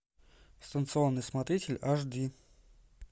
станционный смотритель аш ди